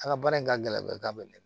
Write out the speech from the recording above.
A ka baara in ka gɛlɛn bɛɛ k'a bɛ ne